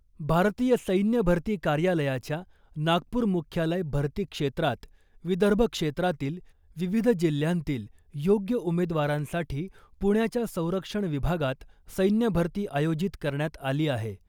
भारतीय सैन्य भरती कार्यालयाच्या नागपूर मुख्यालय भर्ती क्षेत्रात विदर्भ क्षेत्रातील विविध जिल्ह्यांतील योग्य उमेदवारांसाठी पुण्याच्या संरक्षण विभागात सैन्य भरती आयोजित करण्यात आली आहे .